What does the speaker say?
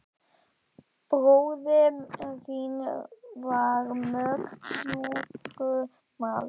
Bróðir þinn var mjög sjúkur maður.